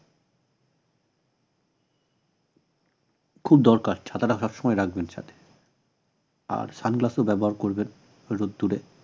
খুব দরকার ছাতাটা সবসময় রাখবেন সাথে আর sun glass ও ব্যবহার করবেন রোদ্দুরে